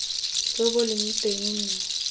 jo bo leng teng mme